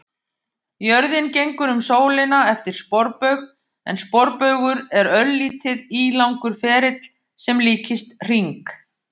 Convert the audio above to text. Jörðin gengur um sólina eftir sporbaug en sporbaugur er örlítið ílangur ferill sem líkist hring.